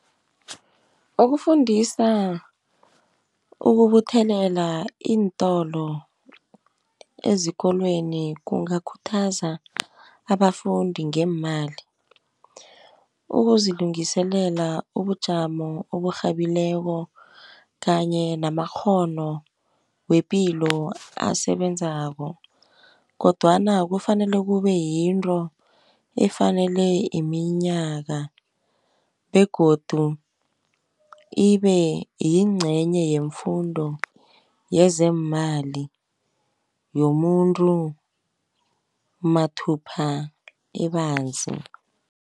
Ukufundisa ukubuthelela iintolo ezikolweni kungakhuthaza abafundi ngeemali. Ukuzilungiselela ubujamo oburhabileko kanye namakghono wepilo asebenzako, kodwana kufanele kube yinto efanele iminyaka, begodu ibeyincenye yemfundo yezeemali yomuntu mathupha ebanzi.